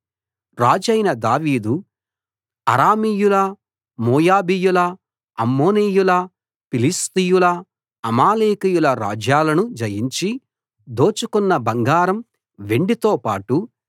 రాజైన దావీదు అరామీయుల మోయాబీయుల అమ్మోనీయుల ఫిలిష్తీయుల అమాలేకీయుల రాజ్యాలను జయించి దోచుకొన్న బంగారం వెండితో పాటు